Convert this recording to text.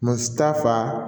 Mɔgɔ si t'a fa